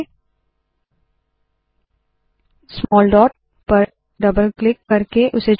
small dot याने छोटे dot पर डबल क्लिक करके उसे चुने